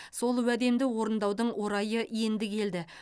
сол уәдемді орындаудың орайы енді келді